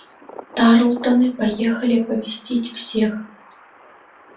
тарлтоны поехали оповестить всех